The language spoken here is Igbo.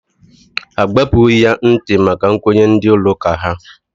Agbapughi ya ntị maka nkwenye ndị ụlọ ụka ha.